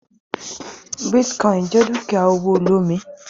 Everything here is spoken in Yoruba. Bitcoin jẹ dukia owo olomi.